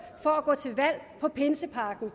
for at gå til valg på pinsepakken